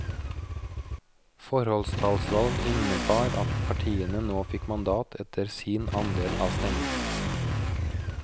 Forholdstallsvalg innebar at partiene nå fikk mandat etter sin andel av stemmene.